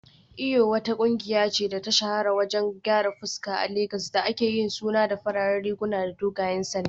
Eyo wata kungiya ce da ta shahara wajen gyaran fuska a Legas da aka yi suna da fararen riguna da dogayen sanda